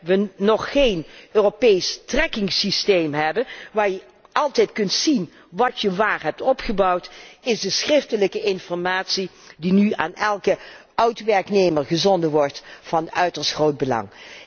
Zolang wij nog geen Europees trackingsysteem hebben, waar je altijd kunt zien wat je waar hebt opgebouwd, is de schriftelijke informatie die nu aan elke oud werknemer gezonden wordt, van uiterst groot belang.